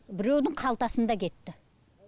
біреудің қалтасында кетті